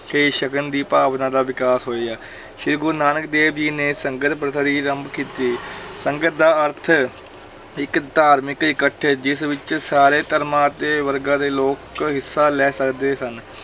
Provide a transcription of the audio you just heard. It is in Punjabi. ਕੇ ਛਕਣ ਦੀ ਭਾਵਨਾ ਦਾ ਵਿਕਾਸ ਹੋਇਆ ਸ੍ਰੀ ਗੁਰੂ ਨਾਨਕ ਦੇਵ ਜੀ ਨੇ ਸੰਗਤ ਪ੍ਰਥਾ ਦੀ ਆਰੰਭ ਕੀਤੀ ਸੰਗਤ ਦਾ ਅਰਥ ਹੈ ਇੱਕ ਧਾਰਮਿਕ ਇਕੱਠ ਜਿਸ ਵਿੱਚ ਸਾਰੇ ਧਰਮਾਂ ਅਤੇ ਵਰਗਾਂ ਦੇ ਲੋਕ ਹਿੱਸਾ ਲੈ ਸਕਦੇ ਸਨ।